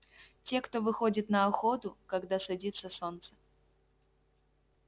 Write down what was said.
те кто выходит на охоту когда садится солнце